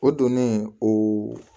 O donnen o